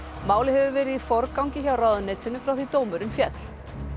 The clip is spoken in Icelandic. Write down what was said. málið hefur verið í forgangi hjá ráðuneytinu frá því dómurinn féll